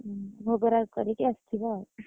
ଓହୋ, ଭୋଗ ରାଗ କରିକି ଆସିବ ଆଉ।